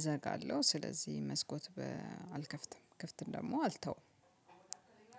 እዘጋለሁ ስለዚህ መስኮት በ አልከፍትም ክፍት ደግሞ አልተውም።